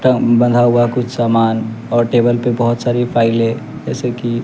बंधा हुआ कुछ सामान और टेबल पे बहोत सारी फाइले जैसे की--